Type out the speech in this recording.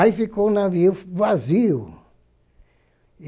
Aí ficou o navio vazio.